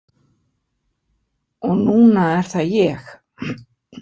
Og núna er það ég.